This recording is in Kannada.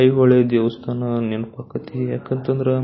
ಐಹೊಳೆ ದೇವಸ್ಥಾನ ನೆನಪ್ ಅಕಾತ್ರಿ ಯಾಕಂದ್ರ--